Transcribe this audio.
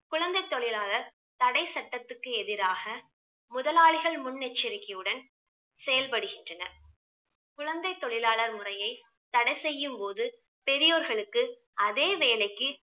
குழந்தை தொழிலாளர் தடை சட்டத்திற்கு எதிராக முதலாளிகள் முன்னெச்சரிக்கையுடன் செயல்படுகின்றனர். குழந்தை தொழிலாளர் முறையை தடை செய்யும் போது பெரியோர்களுக்கு அதே வேலைக்கு